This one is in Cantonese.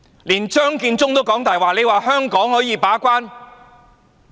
連張建宗也"講大話"，說香港可以把關？